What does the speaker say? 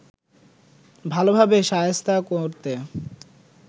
ভালোভাবে শায়েস্তা করতে